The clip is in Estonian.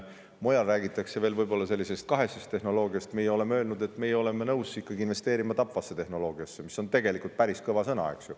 Mujal räägitakse võib-olla veel kahesest tehnoloogiast, meie oleme öelnud, et meie oleme nõus investeerima tapvasse tehnoloogiasse, mis on tegelikult päris kõva sõna.